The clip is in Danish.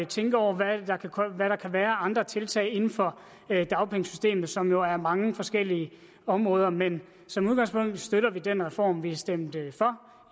tænke over hvad der kan være af andre tiltag inden for dagpengesystemet som jo er mange forskellige områder men som udgangspunkt støtter vi den reform vi stemte for